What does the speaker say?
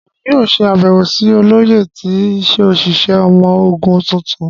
Emi yoo ṣe abẹwo si Oloye ti oṣiṣẹ ọmọ ogun tuntun.